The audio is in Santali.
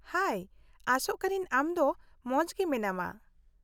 -ᱦᱟᱭ, ᱟᱥᱚᱜ ᱠᱟᱹᱱᱟᱹᱧ ᱟᱢ ᱫᱚ ᱢᱚᱸᱡᱽᱜᱮ ᱢᱮᱱᱟᱢᱟ ᱾